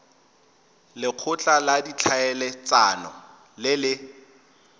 lekgotla la ditlhaeletsano le le